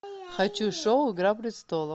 хочу шоу игра престолов